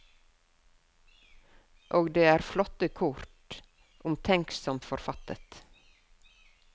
Og det er flotte kort, omtenksomt forfattet.